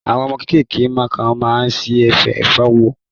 Àwọn ọmọ kéékèèké kan ma ṣì fẹ́ fagbó